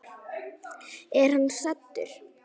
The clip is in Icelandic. Er hann saddur?